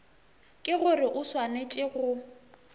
ke gore o swanetše go